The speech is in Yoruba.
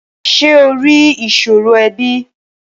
Ṣé o rí ìṣòro ẹbí?